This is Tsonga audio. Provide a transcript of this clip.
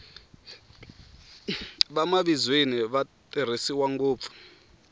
vamavizweni va tirhisiwa ngopfu